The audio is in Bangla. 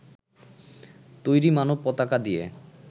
তৈরি মানব পতাকা দিয়ে